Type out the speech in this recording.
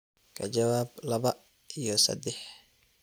ka jawaab laba iyo saddex